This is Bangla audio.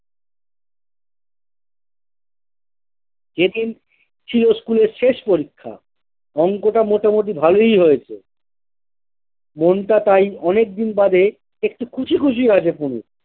যেদিন ছিল স্কুলের শেষ পরীক্ষা অঙ্কটা মোটামুটি ভালোই হয়েছে মনটা তাই অনেকদিন বাদে একটু খুশি খুশি আছে পুলুর।